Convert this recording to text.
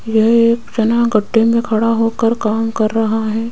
यह एक सेना गड्ढे मे खड़ा होकर काम कर रहा है।